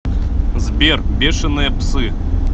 сбер бешеные псы